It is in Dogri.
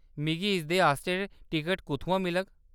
मिगी इसदे आस्तै टिकट कुʼत्थुआं मिलग ?